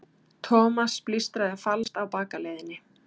Thomas blístraði falskt á bakaleiðinni.